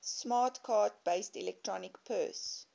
smart card based electronic purse